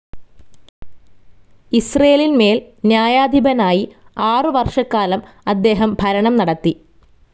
ഇസ്രേലിന്മേൽ ന്യായാധിപനായി ആറുവർഷക്കാലം അദ്ദേഹം ഭരണം നടത്തി.